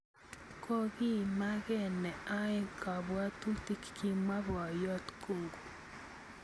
Kokiimake neaeng kabwatutik" kimwa Boyot Kung'u.